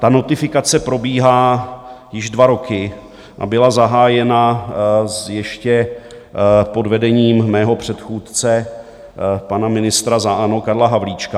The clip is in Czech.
Ta notifikace probíhá již dva roky a byla zahájena ještě pod vedením mého předchůdce, pana ministra za ANO Karla Havlíčka.